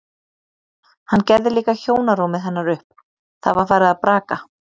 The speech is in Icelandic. Hann gerði líka hjónarúmið hennar upp, það var farið að braka.